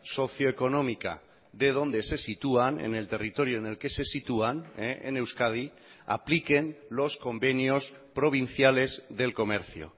socioeconómica de donde se sitúan en el territorio en el que se sitúan en euskadi apliquen los convenios provinciales del comercio